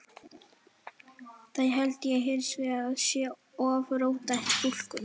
Það held ég hins vegar að sé of róttæk túlkun.